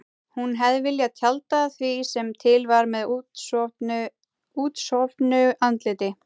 Hún hefði viljað tjalda því sem til var með útsofnu andliti.